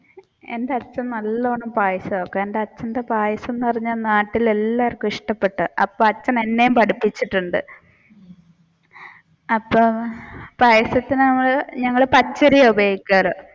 എന്റെ അച്ഛൻ നല്ലോണം പായസം വെക്കും എന്റെ അച്ഛന്റെ പായസം എന്നുപറഞ്ഞാൽ നാട്ടിലുള്ള എല്ലാവര്ക്കും ഇഷ്ടപെട്ടതാണ് അപ്പൊ അച്ഛൻ എന്നെയും പഠിപ്പിച്ചിട്ടുണ്ട് അപ്പൊ പായസത്തിന് നമ്മൾ പച്ചരിയാണ് ഉപയോഗിക്കാർ.